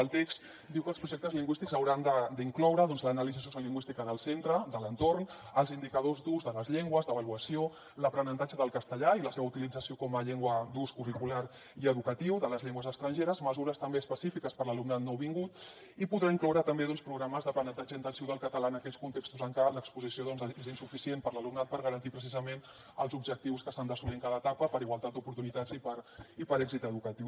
el text diu que els projectes lingüístics hauran d’incloure doncs l’anàlisi socio lingüística del centre de l’entorn els indicadors d’ús de les llengües d’avaluació l’aprenentatge del castellà i la seva utilització com a llengua d’ús curricular i educatiu de les llengües estrangeres mesures també específiques per a l’alumnat nouvingut i podrà incloure també programes d’aprenentatge intensiu del català en aquells contextos en què l’exposició és insuficient per a l’alumnat per garantir precisament els objectius que s’han d’assolir en cada etapa per igualtat d’oportunitats i per èxit educatiu